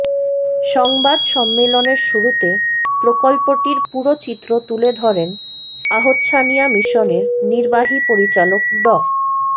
সংবাদ সম্মেলনের শুরুতে প্রকল্পটির পুরো চিত্র তুলে ধরেন আহছানিয়া মিশনের নির্বাহী পরিচালক ড